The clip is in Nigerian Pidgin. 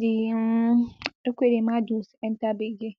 di um ekweremadus enta gbege